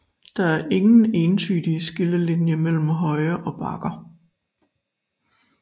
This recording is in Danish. Der er ingen entydig skillelinje mellem høje og bakker